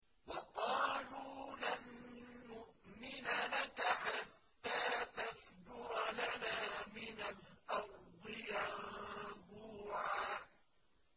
وَقَالُوا لَن نُّؤْمِنَ لَكَ حَتَّىٰ تَفْجُرَ لَنَا مِنَ الْأَرْضِ يَنبُوعًا